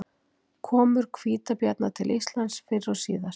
Komur hvítabjarna til Íslands fyrr og síðar.